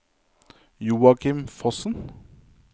Joakim Fossen